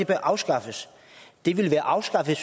afskaffes det ville være afskaffet